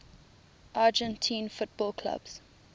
argentine football clubs